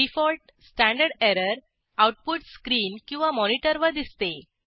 default standard error output screen किंवा मॉनिटरवर दिसते